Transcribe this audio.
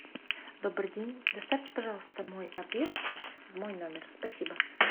добрый день доставьте пожалуйста мой обед в мой номер спасибо